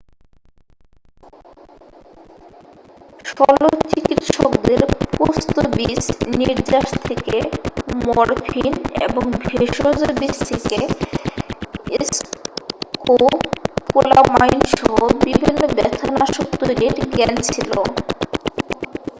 শস্ত্রচিকিৎসকদের পোস্ত বীজ নির্যাস থেকে মরফিন এবং ভেষজ বীজ থেকে স্কোপোলামাইন সহ বিভিন্ন ব্যথা নাশক তৈরির জ্ঞান ছিল